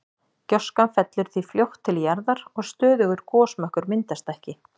Gjóskan fellur því fljótt til jarðar og stöðugur gosmökkur myndast ekki.